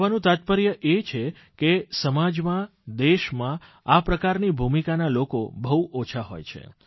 કહેવાનું તાત્પર્ય એ છે કે સમાજમાં દેશમાં આ પ્રકારની ભૂમિકાના લોકો બહુ ઓછા હોય છે